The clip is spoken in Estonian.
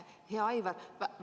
Hea Aivar!